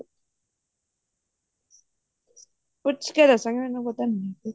ਪੁੱਛ ਕੇ ਦੱਸਾਂਗੀ ਮੈਨੂੰ ਪਤਾ ਨੀ